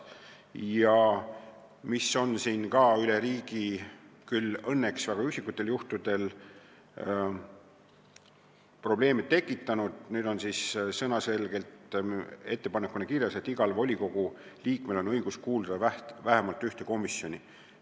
Üks asi on seni üle riigi – küll õnneks väga üksikutel juhtudel – probleeme tekitanud, nüüd on selge sõnaga ettepanekuna kirjas, et igal volikogu liikmel on õigus kuuluda vähemalt ühte komisjoni.